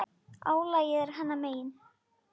Álagið er hennar megin.